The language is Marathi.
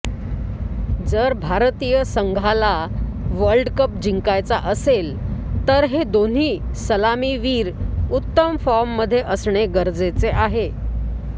जर भारतीय संघाला वर्लडकप जिंकायचा असेल तर हे दोन्ही सलामीवीर उतम फॉर्ममध्ये असणे गरजेचे आहे